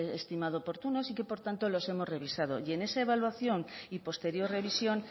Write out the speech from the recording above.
estimado oportunos y que por tanto los hemos revisado y en esa evaluación y posterior revisión